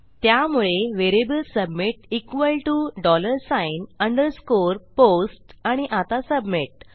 त्यामुळे variable submit equal T O dollar sign underscore post आणि आता सबमिट